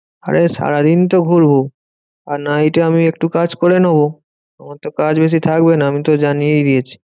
আরে সারাদিন তো ঘুরবো আর night এ আমি একটু কাজ করে নেবো। আমার তো কাজ বেশি থাকবে না আমি তো জানিয়েই দিয়েছি।